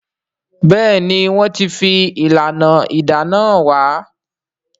Béèni wón tí fi ìlànà ìdáná hàn wá.